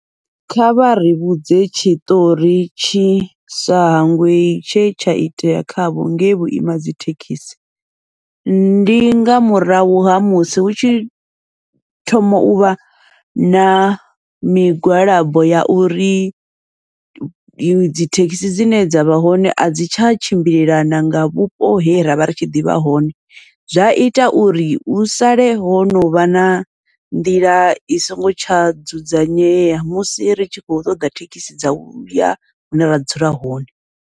Kha vhari vhudze tshiṱori tshisa hangwei tshe tsha itea khavho ngei vhuima dzi thekhisi, ndi nga murahu ha musi hu tshi thoma uvha na migwalabo ya uri dzi thekhisi dzine dza vha hone a dzi tsha tshimbilelana nga vhupo he ravha ritshi ḓivha hone. Zwa ita uri hu sale ho novha na nḓila i songo tsha dzudzanyea, musi ri tshi khou ṱoḓa thekhisi dza uya hune ra dzula hone.